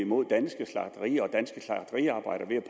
mod danske slagterier